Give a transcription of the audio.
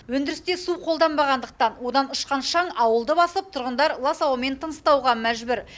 өндірісте су қолданбағандықтан одан ұшқан шаң ауылды басып тұрғындар лас ауамен тыныстауға мәжбүр